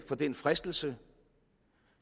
for den fristelse